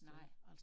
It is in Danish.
Nej